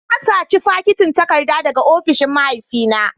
Na saci fakitin takarda daga ofishin mahaifina